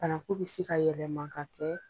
Bananku bi se ka yɛlɛma ka kɛ